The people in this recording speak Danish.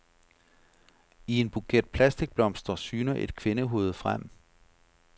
I en buket plastikblomster syner et kvindehoved frem.